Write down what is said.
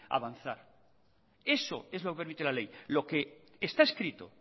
avanzar eso es lo que permite la ley lo que está escrito